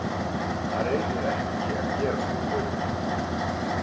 Hann reynir ekki að gera svona hluti.